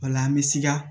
O la an bɛ sika